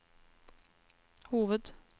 hoved